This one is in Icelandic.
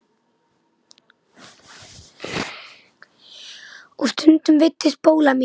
Og stundum veiddi Spóla mink.